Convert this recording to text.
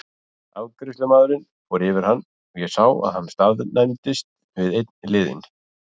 Afgreiðslumaðurinn fór yfir hann og ég sá að hann staðnæmdist við einn liðinn.